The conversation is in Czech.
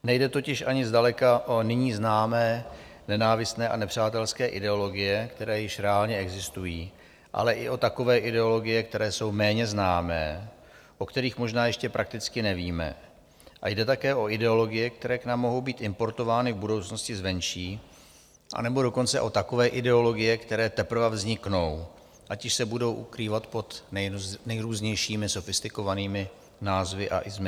Nejde totiž ani zdaleka o nyní známé nenávistné a nepřátelské ideologie, které již reálně existují, ale i o takové ideologie, které jsou méně známé, o kterých možná ještě prakticky nevíme, a jde také o ideologie, které k nám mohou být importovány v budoucnosti zvenčí, anebo dokonce o takové ideologie, které teprve vzniknou, ať již se budou ukrývat pod nejrůznějšími sofistikovanými názvy a "ismy".